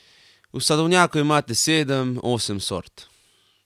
V sadovnjaku imate sedem, osem sort ...